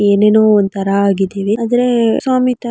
ಏನೇನೊ ಒಂಥರಾ ಆಗಿದೀವಿ ಆದ್ರೆ ಸ್ವಾಮಿ ತ--